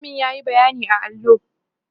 mallamin yayi bayyani a allo